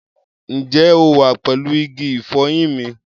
Ǹjẹ́ o wà pẹ̀lú igi ìfọyín mi?